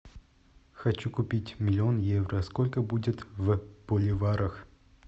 хочу купить миллион евро сколько будет в боливарах